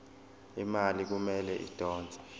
imali kumele idonswe